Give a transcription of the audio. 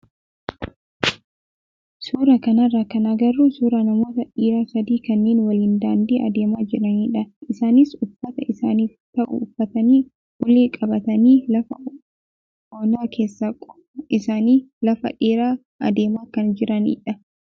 Suuraa kanarraa kan agarru suuraa namoota dhiiraa sadii kanneen waliin daandii adeemaa jiranidha. Isaanis uffata isaaniif ta'u uffatanii ulee qabatanii lafa onaa keessa qofaa isaanii lafa dheeraa adeemaa kan jiranidha.